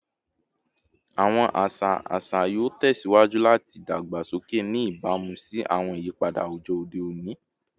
Awọn aṣa aṣa yoo tẹsiwaju lati dagbasoke, ni ibamu si awọn iyipada awujọ ode oni